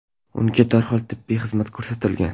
Unga darhol tibbiy xizmat ko‘rsatilgan.